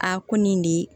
Aa ko nin de